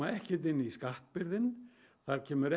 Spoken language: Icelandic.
ekkert inn í skattbyrðin þar kemur